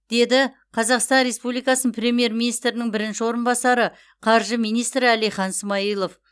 деді қазақстан республикасының премьер министрінің бірінші орынбасары қаржы министрі әлихан смайылов